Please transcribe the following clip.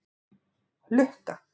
Lukka